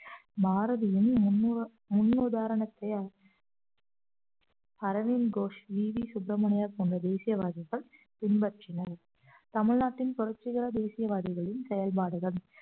பாரதியின் முன்னுத~ முன்னுதாரணத்தையால் அரவிந்த் கோஷ் இ வி சுப்ரமணியா போன்ற தேசியவாதிகள் பின்பற்றினர் தமிழ்நாட்டின் புரட்சிகர தேசியவாதிகளின் செயல்பாடுகள்